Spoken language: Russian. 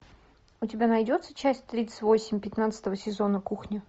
у тебя найдется часть тридцать восемь пятнадцатого сезона кухня